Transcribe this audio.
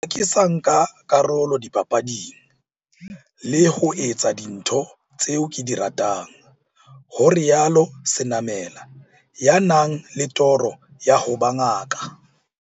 Ha ke sa nka karolo dipapading, le ho etsa dintho tseo ke di ratang, ho rialo Senamela, ya nang le toro ya ho ba ngaka.